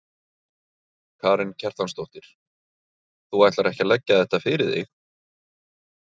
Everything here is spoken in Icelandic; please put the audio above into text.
Karen Kjartansdóttir: Þú ætlar ekki að leggja þetta fyrir þig?